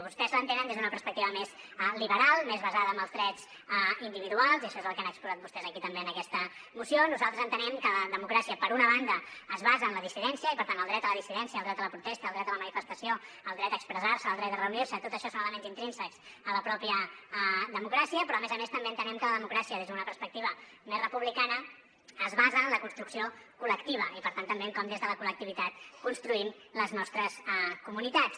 vostès l’entenen des d’una perspectiva més liberal més basada en els drets individuals i això és el que han exposat vostès aquí també en aquesta moció nosaltres entenem que la democràcia per una banda es basa en la dissidència i per tant el dret a la dissidència el dret a la protesta el dret a la manifestació el dret a expressar se el dret a reunir se tot això són elements intrínsecs a la mateixa democràcia però a més a més també entenem que la democràcia des d’una perspectiva més republicana es basa en la construcció col·lectiva i per tant també en com des de la col·lectivitat construïm les nostres comunitats